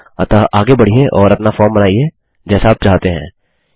अतः आगे बढ़िये और अपना फॉर्म बनाइए जैसा आप चाहते हैं